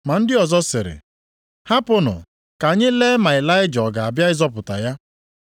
Ma ndị ọzọ sịrị, “Hapụnụ, ka anyị lee ma Ịlaịja ọ ga-abịa ịzọpụta ya.”